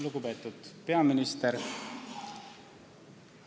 Lugupeetud peaminister!